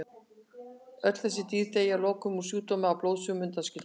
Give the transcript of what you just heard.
Öll þessi dýr deyja að lokum úr sjúkdómnum að blóðsugunum undanskildum.